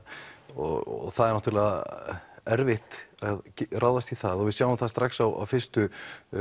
og það er náttúrulega erfitt að ráðast í það og við sjáum strax á fyrstu